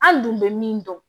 An dun bɛ min dɔn